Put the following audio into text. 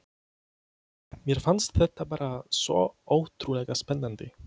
Mér fannst þetta bara svo ótrúlega spennandi.